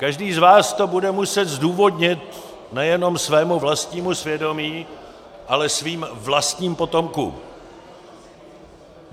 Každý z vás to bude muset zdůvodnit nejenom svému vlastnímu svědomí, ale svým vlastním potomkům.